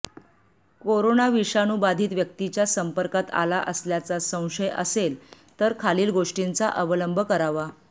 corona विषाणू बाधित व्यक्तीच्या संपर्कात आला असल्याचा संशय असेल तर खालील गोष्टींचा अवलंब करावा